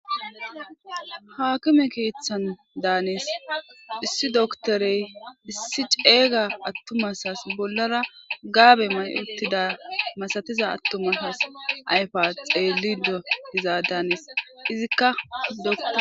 Haakime keeththan daanis issi doktorey issi ceeyga attumasas bollara gaabe may uttida masatiza attumasas ayfa xeellidodizaa daanis izikka dok